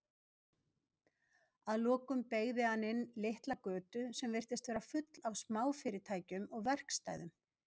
Að lokum beygði hann inn litla götu sem virtist vera full af smáfyrirtækjum og verkstæðum.